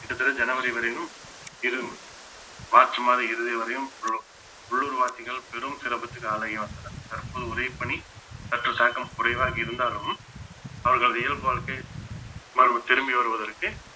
கிட்டத்தட்ட ஜனவரி வரையிலும் இது மார்ச் மாத இறுதி வரையும் ஒரு உள்ளூர்வாசிகள் பெரும் சிரமத்திற்கு ஆளாகி வந்தனர் தற்போது உதவி பணி சற்றுத் தாக்கம் குறைவாக இருந்தாலும் அவர்கள் இயல்பு வாழ்க்கை மறுபடியும் திரும்பி வருவதற்கு